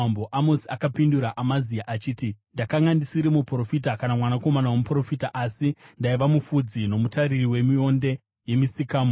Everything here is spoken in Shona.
Amosi akapindura Amazia achiti, “Ndakanga ndisiri muprofita, kana mwanakomana womuprofita, asi ndaiva mufudzi nomutariri wemionde yemisikamo.